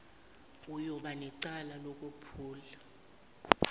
uyoba necala lokwephula